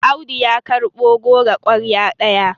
Audu ya karɓo goro kwarya ɗaya